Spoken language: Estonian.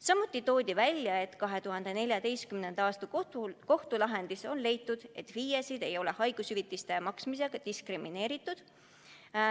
Samuti toodi välja, et 2014. aasta kohtulahendis on leitud, et FIE-sid ei ole haigushüvitiste maksmisel diskrimineeritud.